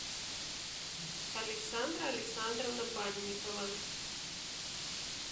александра александровна банникова